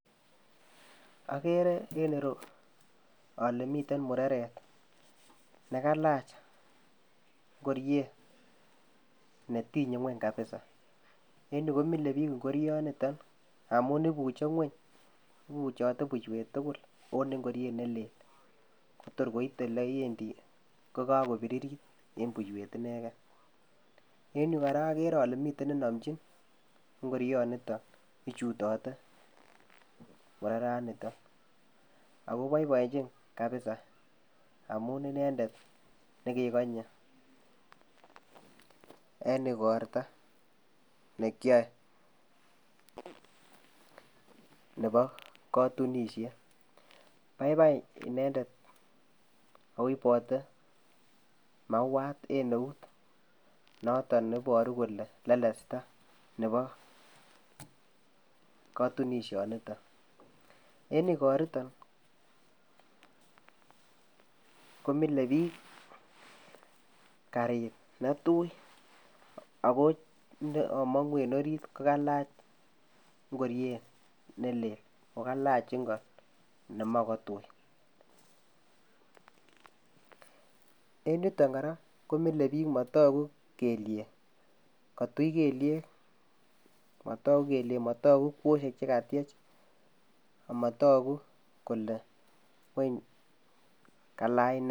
Okere en ireyuu ole miten mureret nikalach ngoriet netinye ngweny kabisa en yuu komile bik ingorio niton amun ibuche ngueny ibuchote puiswet tukul onii ingoriet nelel torkoite lewendii kokokobiriri en boiywet inegen, en yuu koraa okere ole mi nenomchin iingorio niton ichutote mureraniton ako boiboenchi kabisa amun inendet nekekonye en ikorto nekyoe nebo kotunishet, baibai inendet o ibote mauwat en eut noton neiboru kole lelesta nebo kotunisho niton, en ikoriton komile biik karit netui ako chekomongu en orit kokailach ingoriet nelel kokailach inko nemoi kotui, en yutok koraa komile bik motoku keliek kotui kelyek motoku kelyek motoku kwosyek chekatyech motoku kole wany kalach nee.